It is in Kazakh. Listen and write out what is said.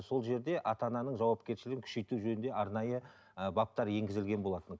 сол жерде ата ананың жауапкершілігін күшейту жөнінде арнайы ыыы баптар енгізілген болатын